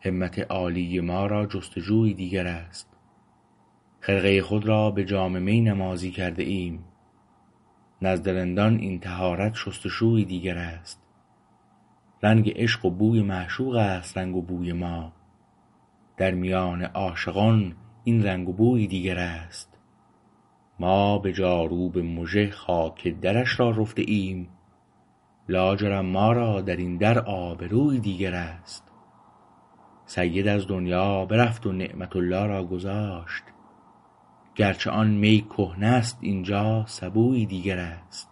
همت عالی ما را جستجویی دیگر است خرقه خود را به جام می نمازی کرده ایم نزد رندان این طهارت شست و شویی دیگر است رنگ عشق و بوی معشوقست رنگ و بوی ما در میان عاشقان این رنگ و بویی دیگر است ما به جاروب مژه خاک درش را رفته ایم لاجرم ما را درین در آبرویی دیگر است سید از دنیا برفت و نعمة الله را گذاشت گرچه آن می کهنه است اینجا سبویی دیگراست